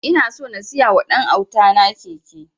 Ina so na siya wa ɗan auta na keke